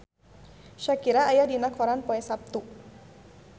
Shakira aya dina koran poe Saptu